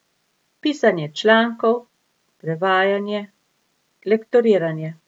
Pisanje člankov, prevajanje, lektoriranje.